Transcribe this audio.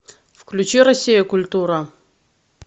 включи россия культура